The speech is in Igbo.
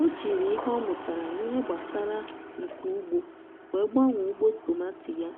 ọ jiri ihe ọ mụtara n’ihe gbasara nka ugbo wee gbanwee ugbo tomati ya